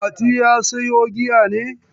Mati ya sayo giyan ne?